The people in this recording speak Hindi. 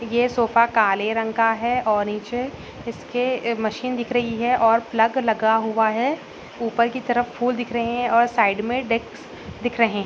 ये सोफा काले रंग का है और नीचे इसके मशीन दिख रही है प्लग लगा हुआ है। ऊपर की तरफ फूल देख रहे हैं और साइड में डेस्क दिख रहे है।